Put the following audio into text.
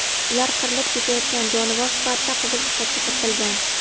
Ular qirilib ketayotgan jonivor sifatida Qizil kitobga kiritilgan.